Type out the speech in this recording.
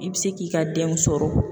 I bɛ se k'i ka denw sɔrɔ